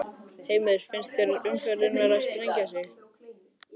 Heimir: Finnst þér umferðin vera að sprengja sig?